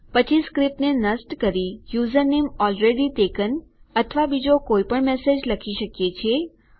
પછી સ્ક્રીપ્ટને નષ્ટ કરી યુઝરનેમ એલરેડી ટેકન અથવા બીજો કોઈપણ મેસેજ લખી શકીએ છીએ